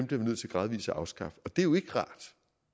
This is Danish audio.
bliver vi nødt til gradvis at afskaffe det er jo ikke rart